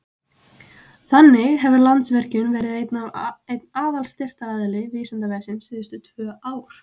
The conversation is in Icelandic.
Þannig hefur Landsvirkjun verið einn aðalstyrktaraðili Vísindavefsins síðustu tvö ár.